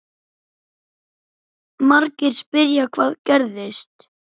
Margir spyrja: Hvað gerðist?